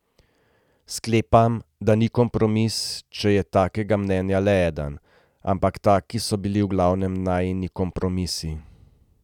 Sklepam, da ni kompromis, če je takega mnenja le eden, ampak taki so bili v glavnem najini kompromisi.